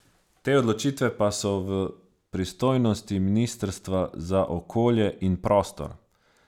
Te odločitve pa so v pristojnosti ministrstva za okolje in prostor.